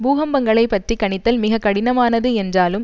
பூகம்பங்களைப் பற்றி கணித்தல் மிக கடினமானது என்றாலும்